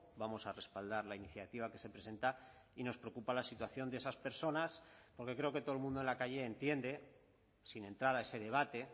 vamos a respaldar la iniciativa que se presenta y nos preocupa la situación de esas personas porque creo que todo el mundo en la calle entiende sin entrar a ese debate